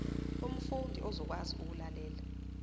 umfundi uzokwazi ukulalela